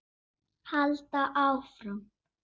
Halda áfram.